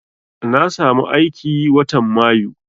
Na samu aiki watan mayu